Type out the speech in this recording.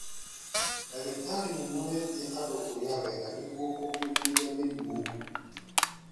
Ndagĩtarĩ nĩmorĩtie andũ kũrĩa wega nĩguo kũrigĩrĩa mĩrimũ